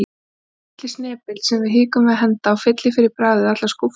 Þessi litli snepill sem við hikum við að henda og fyllir fyrir bragðið allar skúffur.